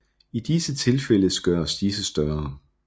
I disse tilfældes gøres disse større